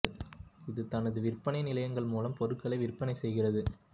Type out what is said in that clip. இது தனது விற்பனை நிலையங்கள் மூலம் பொருட்களை விற்பனை செய்கிறது